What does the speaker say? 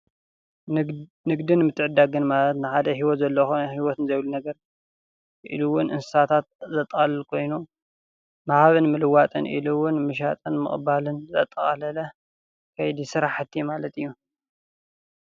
ንግድ ንግድን ምትዕድድጋን ማለት ንሓደ ሂወት ዘለዎ ይኹን ሂወት ንዘይብሉ ነገር ኢሉ እውን እንስሳታት ዘጠቃልል ኮይኑ ምሃብን ምልዋጥን ኢሉ እውን ምሻጥን ምቅባልን ዘጠቃለለ ከይዲ ስራሕቲ ማለት እዩ።